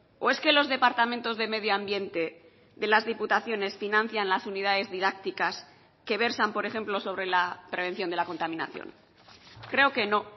o es que los departamentos de medioambiente de las diputaciones financian las unidades didácticas que versan por ejemplo sobre la prevención de la contaminación creo que no